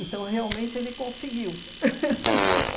Então, realmente, ele conseguiu